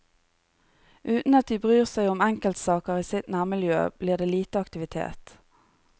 Uten at de bryr seg om enkeltsaker i sitt nærmiljø, blir det lite aktivitet.